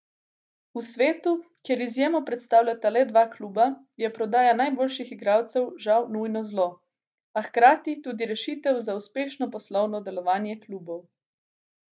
V svetu, kjer izjemo predstavljata le dva kluba, je prodaja najboljših igralcev žal nujno zlo, a hkrati tudi rešitev za uspešno poslovno delovanje klubov.